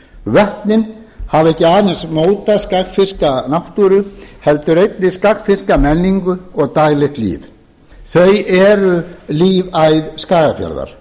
vötnin hafa ekki aðeins mótað skagfirska náttúru heldur einnig skagfirska menningu og daglegt líf þau eru lífæð skagafjarðar